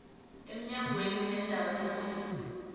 emnyangweni weendaba zebhoduluko